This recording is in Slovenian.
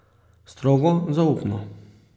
Strogo zaupno.